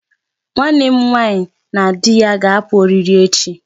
Nwanne m nwaanyi na di ya ga-apụ ọrịrị echi